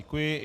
Děkuji.